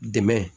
Dɛmɛ